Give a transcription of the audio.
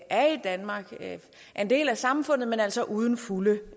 er i danmark er en del af samfundet men altså uden fulde